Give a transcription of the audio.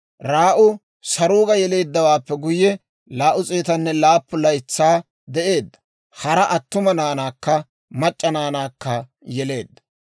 Raa'u Saruuga yeleeddawaappe guyye, 207 laytsaa de'eedda; hara attuma naanaakka mac'c'a naanaakka yeleedda.